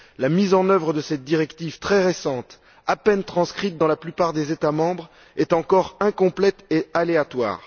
La mise en œuvre de cette directive très récente, à peine transcrite dans la plupart des États membres, est encore incomplète et aléatoire.